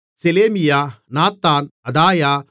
செலேமியா Nathan அதாயா